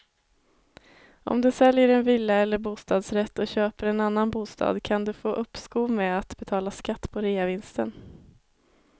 Om du säljer en villa eller bostadsrätt och köper en annan bostad kan du få uppskov med att betala skatt på reavinsten.